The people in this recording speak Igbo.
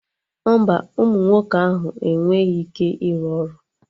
Mba, ụmụ nwoke ahụ enweghị ike iru ọrụ